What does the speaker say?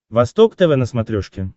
восток тв на смотрешке